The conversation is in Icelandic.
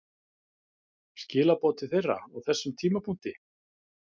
Skilaboð til þeirra á þessum tímapunkti?